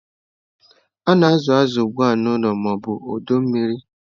A na-azụ azụ ugbu a n'ụlọ ma ọ bụ ọdọ mmiri.